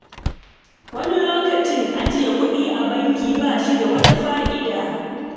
Wani lokacin, ajiye kuɗi a banki ba shi da wata fa'ida.